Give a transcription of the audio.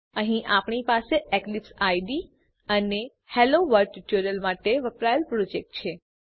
અહીં આપણી પાસે એક્લીપ્સ આઇડીઇ અને હેલોવર્લ્ડ ટ્યુટોરીયલ માટે વપરાયેલ પ્રોજેક્ટ છે